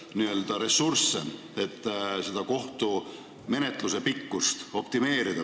Nii on meie kolleegid esitanud teatud seaduseelnõusid, et hakata kuskilt otsast mingeid asju kärpima, et menetlusaega võimalikult minimeerida.